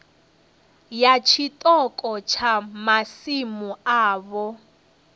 ya tshiṱoko tsha masimu avho